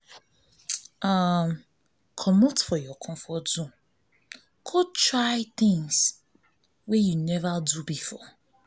um comot for your comfort zone go try try things wey you nova do before